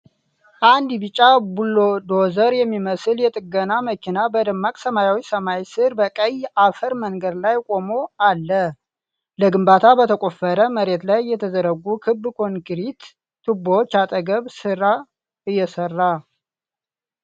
አንድ ቢጫ ቡልዶዘር የሚመስል የጥገና መኪና፣ በደማቅ ሰማያዊ ሰማይ ሥር በቀይ አፈር መንገድ ላይ ቆሞ አለ፣ ለግንባታ በተቆፈረ መሬት ላይ የተዘረጉ ክብ ኮንክሪት ቱቦዎች አጠገብ ሥራ እየሰራ።